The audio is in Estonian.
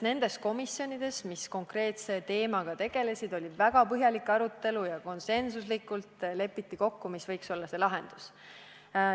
Nendes komisjonides, kes ühe või teise konkreetse teemaga tegelesid, oli väga põhjalik arutelu ja konsensuslikult lepiti kokku, mis võiks olla lahendus.